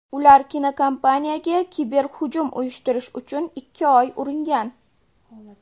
Ular kinokompaniyaga kiberhujum uyushtirish uchun ikki oy uringan.